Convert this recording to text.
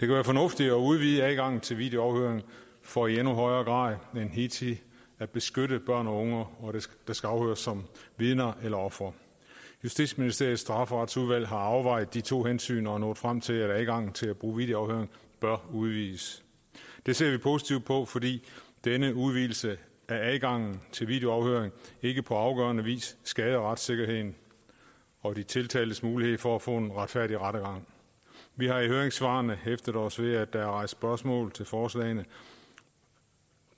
være fornuftigt at udvide adgangen til videoafhøring for i endnu højere grad end hidtil at beskytte børn og unge der skal afhøres som vidner eller ofre justitsministeriets strafferetsudvalg har afvejet de to hensyn og er nået frem til at adgangen til at bruge videoafhøring bør udvides det ser vi positivt på fordi denne udvidelse af adgangen til videoafhøring ikke på afgørende vis skader retssikkerheden og de tiltaltes mulighed for at få en retfærdig rettergang vi har i høringssvarene hæftet os ved at der er rejst spørgsmål til forslagene